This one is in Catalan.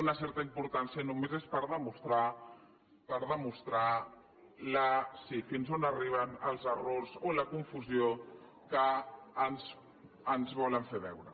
una certa importància només és per demostrar fins on arriben els errors o la confusió que ens volen fer veure